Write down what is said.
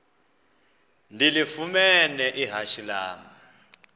ndilifumene ihashe lam